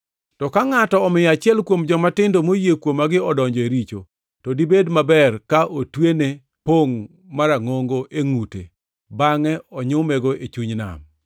“To ka ngʼato omiyo achiel kuom jomatindo moyie kuomagi odonjo e richo to dibed maber ka otwene pongʼ marangʼongo e ngʼute bangʼe onyumego e chuny nam.